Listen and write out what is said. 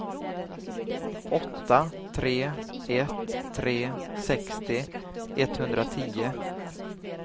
åtta tre ett tre sextio etthundratio